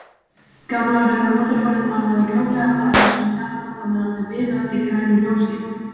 Gamla rauða mótorhjólið malaði gróflega við annasöm gatnamót á meðan þau biðu eftir grænu ljósi.